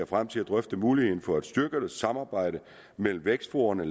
frem til at drøfte muligheden for at styrke samarbejdet mellem vækstforaene og